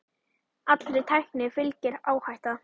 Allri tækni fylgir áhætta.